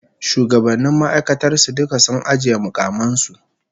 Shugabannnin ma'aikatar su duka sun ajiye mukaman su